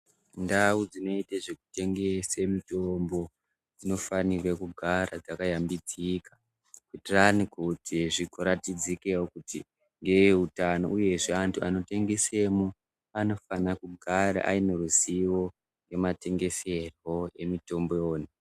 Ndau dzinoite zvekutengese mitombo dzinofanirwa kugara dzakayambidzika. Kuitirani kuti zvingoratidzikevo kuti eutano, uyezve antu anotengesemo anofanira kugara aine ruzivo ematengeserwo emutombo iyona.